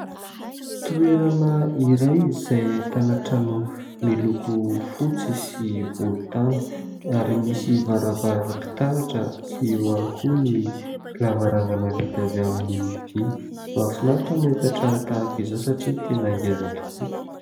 Toerana iray izay ahitana trano miloko fotsy sy volontany ary misy varavaram-pitaratra sy eo ihany koa ny lavarangana vita avy amin'ny vy. Mahafinaritra mahita trano tahaka izao satria tena ngeza tokoa !